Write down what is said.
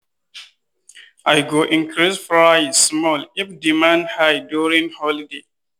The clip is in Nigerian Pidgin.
i go increase price small if demand high during holiday.